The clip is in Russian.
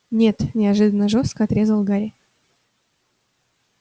нет неожиданно жёстко отрезал гарри